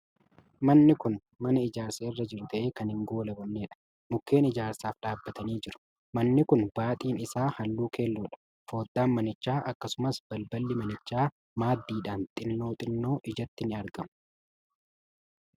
Manni Kun mana ijaarsa irra jiru ta'e kan hin goolabamnedha. Mukkeen ijaarsaaf dhaabbatanii jiru. Manni Kun baaxiin isaa Halluu keelloodha. Fooddaan manichaa, akkasumas ballballo manichaa maddiidhaan xinnoo xinnoo ijatti ni argamu.